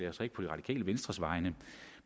altså ikke på det radikale venstres vegne